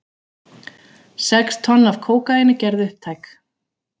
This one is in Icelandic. Sex tonn af kókaíni gerð upptæk